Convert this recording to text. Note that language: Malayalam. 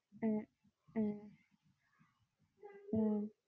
ഹാ